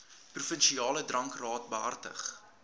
provinsiale drankraad behartig